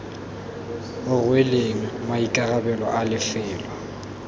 o rweleng maikarabelo a lefelo